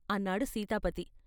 " అన్నాడు సీతాపతి.